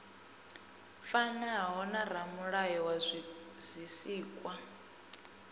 fanaho na ramulayo wa zwisikwa